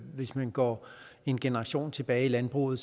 hvis man går en generation tilbage i landbruget